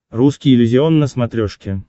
русский иллюзион на смотрешке